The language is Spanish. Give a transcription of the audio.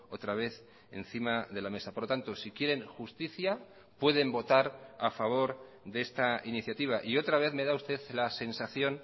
otra vez encima de la mesa por lo tanto si quieren justicia pueden votar a favor de esta iniciativa y otra vez me da usted la sensación